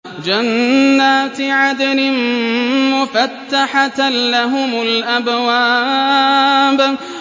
جَنَّاتِ عَدْنٍ مُّفَتَّحَةً لَّهُمُ الْأَبْوَابُ